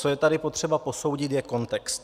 Co je tady potřeba posoudit, je kontext.